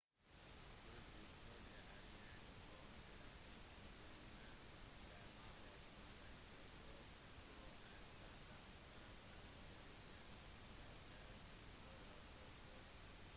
kulturhistorie er kjent som den typen turisme der målet med et besøk på et bestemt sted er å bli kjent med dets historie og kultur